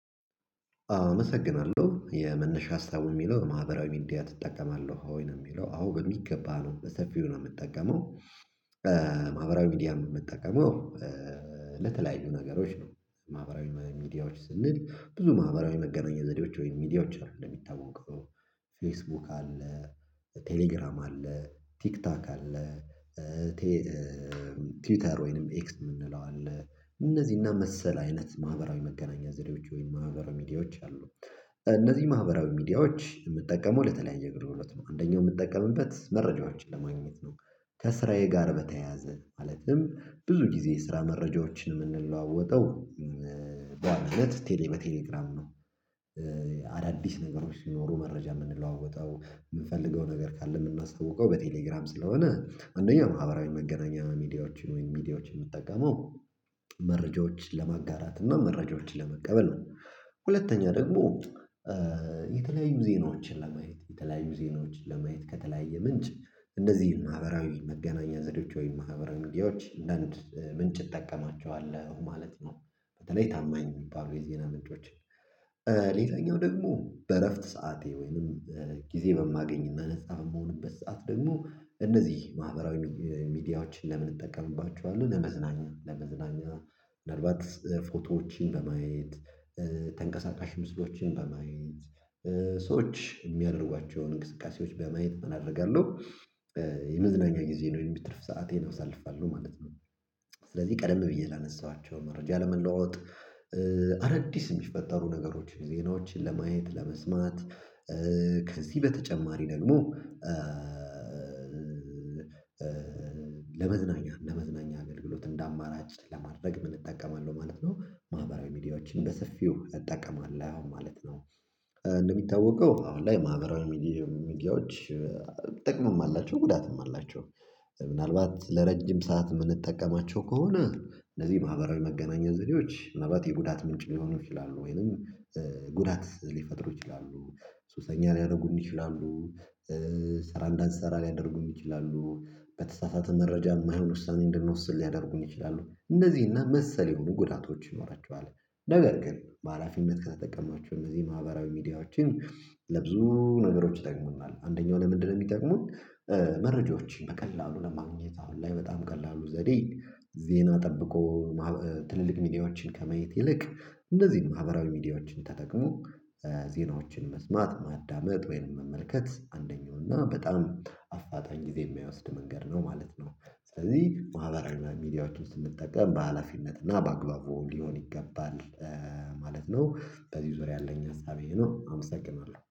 አመሰግናለሁ የመነሻ ሀሳቡ ሚለው ማህበራዊ ሚዲያ ትጠቀማለሁ ወይ? ነው ሚለው አዎ በሚገባ ነው በሰፊው ነው ምጠቀመው ማህበራዊ ሚዲያ ምጠቀመው ለተለያዩ ነገሮች ነው ማህበራዊ ሚዲያዎች ስንል ብዙ ማህበራዊ መገናኘ ዘዴዎች ወይም ሚዲያዎች አሉ። እንደሚታወቀው ፌስቡክ አለ፣ ቴሌግራም አለ፣ ቲክቶክ አለ ቲውተር ወይንም ኤክስ ምንለው አለ እነዚህና መሰል አይነት ማህበራዊ መገናኛ ዘዴዎች ወይም ማህበራዊ ሚዲያዎች አሉ። እነዚህ ማህበራዊ ሚዲያዎች የምጠቀመው ለተለያየ አገልግሎት ነው። አንደኛው ምጠቀምበት መረጃዎችን ለማግኘት ነው ከስራዬ ጋር በተያያዘ ማለትም ብዙ ጊዜ የስራ መረጃዎችን ምንለዋወጠው በዋናነት ቴሌ በቴሌግራም ነው። አዳዲስ ነገሮች ሲኖሩ መረጃ ምንለዋወጠው ምንፈልገው ነገር ካለ ምናስታውቀው በቴሌግራም ስለሆነ አንደኛው ማህበራዊ መገናኛ ሚዲያዎችን ወይም ሚዲያዎች ምጠቀመው መረጃዎችን ለማጋራት እና መረጃዎችን ለመቀበል ነው። ሁለተኛ ደግሞ የተለያዩ ዜናዎችን ለማየት የተለያዩ ዜናዎችን ለማየት ከተለያየ ምንጭ እነዚህ ማህበራዊ መገናኛ ዘዴዎች ወይም ማህበራዊ ሚዲያዎች እንደን ምንጭ እጠቀማቸዋለሁ ማለት ነው። በተለይ ታማኝ ሚባሉ የዜና ምንጮች ሌላኛው ደግሞ በእረፍት ሰዓቴ ወይንም ጊዜ በማገኝ ነፃ በምሆንበት ሰዓት ደግሞ እነዚህ ማህበራዊ ሚዲያዎችን ለምን እጠቀምባችኋለሁ ለመዝናኛ፤ ለመዝናኛ ምናልባት ፎቶዎችን በማየት ተንቀሳቃሽ ምስሎችን በማየት ሰዎች የሚያደርጓቸውን እንቅስቃሴዎች በማየት ምን አደርጋለሁ የመዝናኛ ጊዜን ወይም ትርፍ ሰአቴን አሳልፋለሁ ማለት ነው። ስለዚህ ቀደም ብዬ ላነሳኋቸው መረጃ ለመለዋወጥ አዳዲስ የሚፈጠሩ ነገሮችን ዜናዎችን ለማየት፣ ለመስማት ከዚህ በተጨማሪ ደግሞ ለመዝናኛ፤ ለመዝናኛ አገልግሎት እንደ አማራጭ ለማድረግ ምን እጠቀማለሁ ማለት ነው ማህበራዊ ሚዲያዎችን በሰፊው እጠቀማለሁ ማለት ነው። እንደሚታወቀው አሁን ላይ ማህበራዊ ሚዲያ ሚዲያዎች ጥቅምም አላቸው፤ ጉዳትም አላቸው። ምናልባት ለረጅም ሰዓት ምንጠቀማቸው ከሆነ እነዚህ ማህበራዊ መገናኛ ዘዴዎች ምናልባት የጉዳት ምንጭ ሊሆኑ ይችላሉ ወይንም ጉዳት ሊፈጥሩ ይችላሉ ሱሰኛ ሊያደርጉን ይችላሉ ስራ እንዳንሰራ ሊያደርጉን ይችላሉ። በተሳሳተ መረጃ ማይሆን ውሳኔ እንድንወስድ ሊያደርጉን ይችላሉ። እነዚህ እና መሰል የሆኑ ጉዳቶች ይኖራቸዋል ነገር ግን በሃላፊነት ከተጠቀማችሁ እነዚህ ማህበራዊ ሚዲያዎችን ለብዙ ነገሮች ይጠቅሙናል። አንደኛው ለምንድነው የሚጠቅሙን መረጃዎችን በቀላሉ ለማግኘት አሁን ላይ በጣም ቀላሉ ዘዴ ዜና ጠብቆ ትልልቅ ሚዲያዎችን ከማየት ይልቅ እንደዚህ ማህበራዊ ሚዲያዎችን ተጠቅሞ ዜናዎችን መስማት፣ ማዳመጥ ወይንም መመልከት አንደኛው እና በጣም አፋጣኝ ጊዜ የማያወስድ መንገድ ነው ማለት ነው። ስለዚህ ማህበራዊ ሚዲያዎች ስንጠቀም በሃላፊነት እና በአግባቡ ሊሆን ይገባል ማለት ነው በዚህ ዙርያ ያለኝ ሀሳቤ ይሄ ነው አመሰግናለሁ።